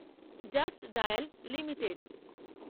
just Dial limited